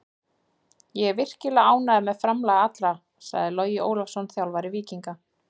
Ég er virkilega ánægður með framlag allra, sagði Logi Ólafsson, þjálfari Víkinga.